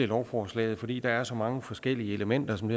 lovforslaget fordi der er så mange forskellige elementer som